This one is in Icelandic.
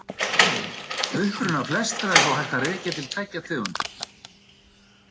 Uppruna flestra er þó hægt að rekja til tveggja tegunda.